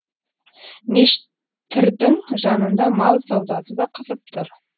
мешіт тірдің жанында мал саудасы да қызып тұр